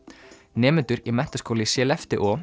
nemendur í menntaskóla í